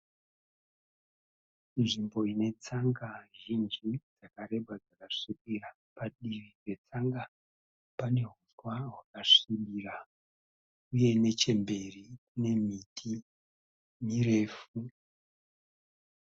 Nzvimbo ine tsanga zhinji dzakareba dzakasvibira. Padivi petsanga pane huswa hwakasvibira uye nechemberi kune miti mirefu.